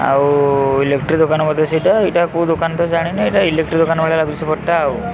ଆଉ ଇଲେକ୍ଟ୍ରି ଦୋକାନ ବୋଧେ ସେଇଟା ଏଇଟା କୋଉ ଦୋକାନ ତ ଜାଣିନି ଏଇଟା ଇଲିକ୍ଟ୍ରି ଦୋକାନ ଭଳିଆ ଲାଗୁଚି ସେପଟଟା ଆଉ।